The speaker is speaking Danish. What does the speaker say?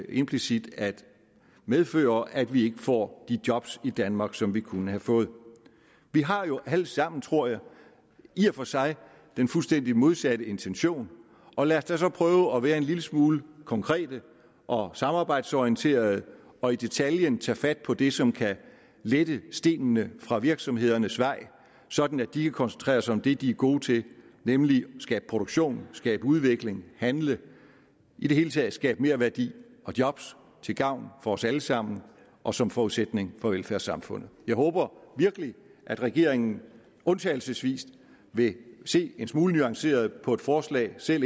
implicit at medføre at vi får de job i danmark som vi kunne have fået vi har jo alle sammen tror jeg i og for sig den fuldstændig modsatte intention og lad os da så prøve at være en lille smule konkrete og samarbejdsorienterede og i detaljen tage fat på det som kan lette stenene fra virksomhedernes vej sådan at de kan koncentrere sig om det de er gode til nemlig at skabe produktion skabe udvikling handle i det hele taget skabe merværdi og job til gavn for os alle sammen og som forudsætning for velfærdssamfundet jeg håber virkelig at regeringen undtagelsesvis vil se en smule nuanceret på forslaget selv